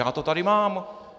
Já to tady mám!